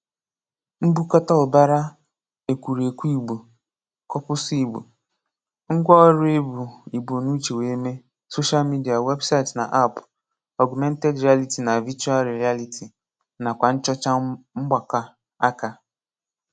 M̀bùkọ̀tà ụ̀bara ekwùrèkwù Ìgbò (Kọ̀pùsù Ìgbò), ngwa ọrụ e bu Ìgbò n’uche wee mee, social media, website na app, augmented reality na virtual reality, nakwa nchọcha mgbakọ aka.